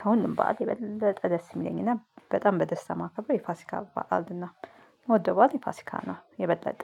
ከሁሉም በዓል የበለጠ ደስ የሚለኝና በጣም በደስታ ማከብረው የፋሲካ በዓልን ነው። የምወደው በዓል የፋሲካ ነው የበለጠ